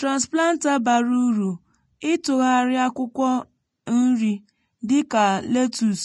transplanter bara uru ịtụgharị akwụkwọ nri dịka letus